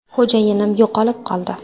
Xo‘jayinim yo‘qolib qoldi.